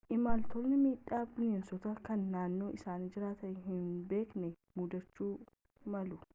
imaltoonni miidhaa bineensotaa kan naannoo isaan jiraatanitti hin beekne muudachuu malu